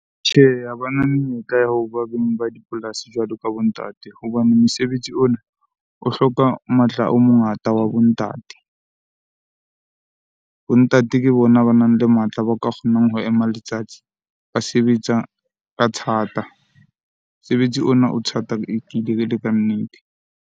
Tjhehe, ha bana menyetla ya hoba beng ba dipolasi jwalo ka bo ntate hobane mosebetsi ona o hloka matla o mongata wa bo ntate. Bo ntate ke bona banang le matla, ba ka kgonang ho ema letsatsi, ba sebetsa ka thata. Mosebetsi ona o thata ele kannete.